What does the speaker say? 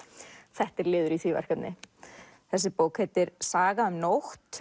þetta er liður í því verkefni þessi bók heitir Saga um nótt